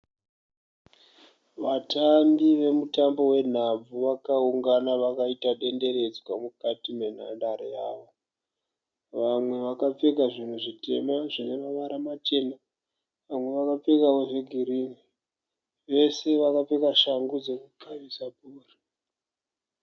Vatambi vemutambo wenhabvu vakaungana vakaita denderedzwa mukati menhandare yavo. Vamwe vakapfeka zvinhu zvitema zvine mavara machena vamwe vakapfekawo zvegirini. Vese vakapfeka shangu dzekukavisa bhora.